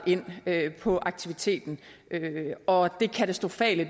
ind på aktiviteten og den katastrofale